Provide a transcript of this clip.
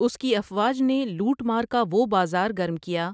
اس کی افواج نے لوٹ مار کا وہ بازار گرم کیا ۔